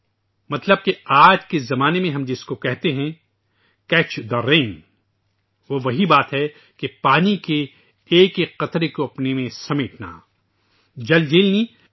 اس کا مطلب یہ ہے کہ آج کے دور میں ، جسے ہم 'کیچ دی رین' کہتے ہیں ،وہ وہی بات ہے جو پانی کے ایک ایک بوند کو خود میں سمیٹنا، جل جیلانی